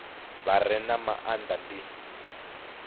vha re na maanda ndi